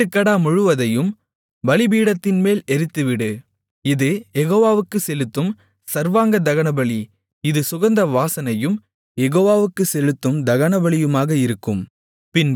ஆட்டுக்கடா முழுவதையும் பலிபீடத்தின்மேல் எரித்துவிடு இது யெகோவாவுக்குச் செலுத்தும் சர்வாங்கதகனபலி இது சுகந்த வாசனையும் யெகோவாவுக்குச் செலுத்தும் தகனபலியுமாக இருக்கும்